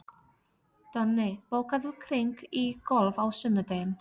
Donni, bókaðu hring í golf á sunnudaginn.